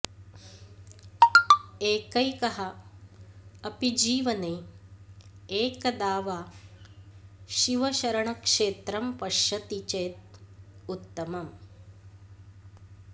एकैकः अपि जीवने एकदा वा शिवशरणक्षेत्रं पश्यति चेत् उत्तमम्